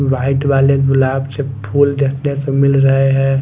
White वाले गुलाब के फूल देखने को मिल रहे हैं।